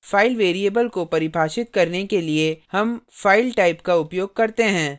file variable को परिभाषित करने के लिए हम file type का उपयोग करते हैं